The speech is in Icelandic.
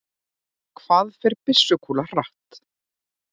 hvað fer byssukúla hratt